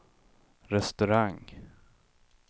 restaurang